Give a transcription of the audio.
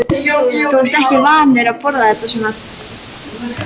Þú ert ekki vanur að borða þetta svona